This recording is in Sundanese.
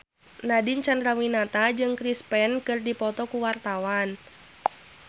Nadine Chandrawinata jeung Chris Pane keur dipoto ku wartawan